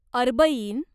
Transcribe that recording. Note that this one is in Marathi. अर्बईन